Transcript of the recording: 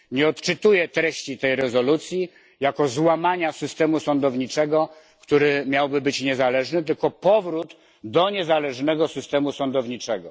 Nie odczytuję treści tej rezolucji jako złamania systemu sądowniczego, który miałby być niezależny, tylko jako powrót do niezależnego systemu sądowniczego.